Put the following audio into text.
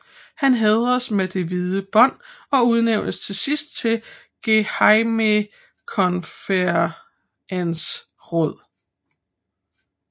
Han hædredes med det hvide bånd og udnævntes sidst til gehejmekonferensråd